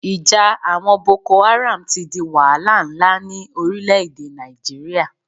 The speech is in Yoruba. Ìja àwọn Boko Haram ti di wahala nlá ní orílẹ̀ èdè Nàìjíríà